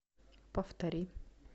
повтори